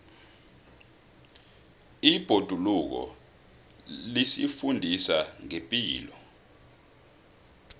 ibhoduluko lisifundisa ngepilo